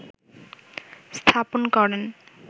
স্থাপন করেন